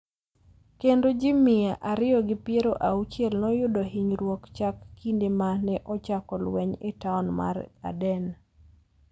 kendo ji mia ariyo gi piero auchiel noyudo hinyruok chakre kinde ma ne ochako lweny e taon mar Aden.